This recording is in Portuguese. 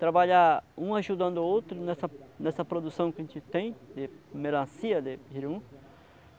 Trabalhar um ajudando o outro nessa nessa produção que a gente tem de melancia, de jirimum